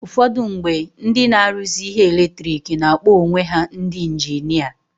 Ụfọdụ mgbe, ndị na-aruzi ihe eletiriki na-akpọ onwe ha ndi injinia.